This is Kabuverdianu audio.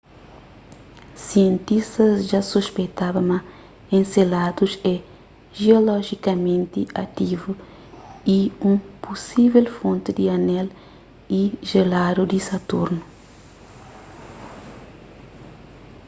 sientistas dja suspeitaba ma enceladus é jiolojikamenti ativu y un pusível fonti di anel e jeladu di saturnu